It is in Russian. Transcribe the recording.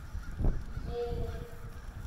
ельни